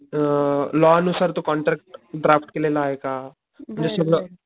अ law नुसार तो contract draft केलेला आहे का .